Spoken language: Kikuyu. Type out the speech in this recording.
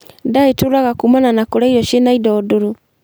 Ndaa ĩturaga kumana na kũrĩa irio ciĩna indo ndũrũ